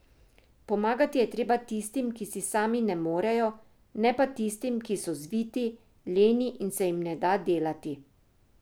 Pomagati je treba tistim, ki si sami ne morejo, ne pa tistim, ki so zviti, leni in se jim ne da delati.